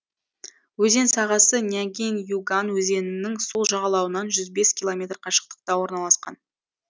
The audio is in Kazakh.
өзен сағасы нягинь юган өзенінің сол жағалауынан жүз бес километр қашықтықта орналасқан